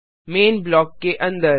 man block के अंदर